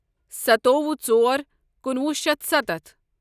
ستووُہ ژور کُنوُہ شیتھ سَتتھ